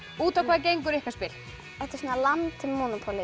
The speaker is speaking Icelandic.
út á hvað gengur ykkar spil þetta er svona Land